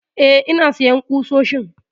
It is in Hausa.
Eh ina sayan ƙusoshin